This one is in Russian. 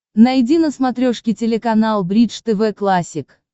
найди на смотрешке телеканал бридж тв классик